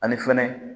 Ani fɛnɛ